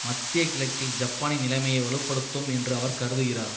மத்திய கிழக்கில் ஜப்பானின் நிலைமையை வலு படுத்தும் என்று அவர் கருதுகிறார்